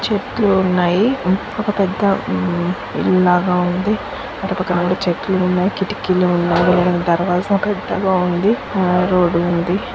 చెట్లు ఉన్నాయి. ఒక పెద్ద ఇల్లు లాగా ఉంది. అటు పక్కన కూడా చెట్లు ఉన్నాయి. కిటికీలు ఉన్నాయి. ఒక దర్వాజ పెద్దగా ఉంది. రోడ్డు ఉంది.